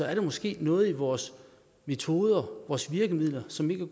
er der måske noget i vores metoder vores virkemidler som ikke